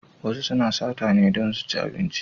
Wasu suna sata ne don su ci abinci.